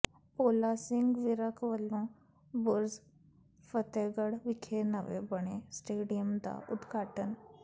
ਭੋਲਾ ਸਿੰਘ ਵਿਰਕ ਵੱਲੋਂ ਬੁਰਜ ਫ਼ਤਿਹਗੜ੍ਹ ਵਿਖੇ ਨਵੇਂ ਬਣੇ ਸਟੇਡੀਅਮ ਦਾ ਉਦਘਾਟਨ